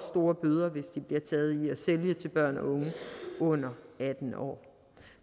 store bøder hvis de bliver taget i at sælge til børn og unge under atten år